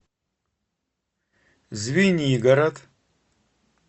звенигород